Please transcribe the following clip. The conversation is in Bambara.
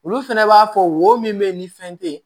Olu fɛnɛ b'a fɔ wo min bɛ yen ni fɛn tɛ yen